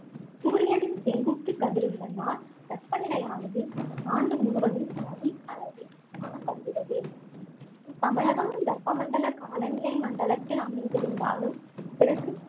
சூரியனின் செங்குத்து கதிர்களினால் வெப்ப நிலையானது ஆண்டு முழுவதும் அதிக அளவில் காணப்படுகிறது தமிழகம் வெப்பமண்டல காலநிலை மண்டலத்தில் அமைந்திருந்தாலும்